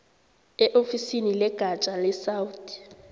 eofisini legatja lesouth